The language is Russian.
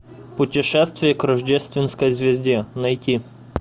путешествие к рождественской звезде найти